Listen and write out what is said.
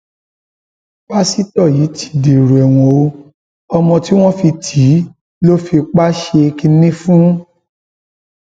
pásítọ yìí ti dèrò ẹwọn o ọmọ tí wọn fi tì í lọ fipá ṣe kínní fún fún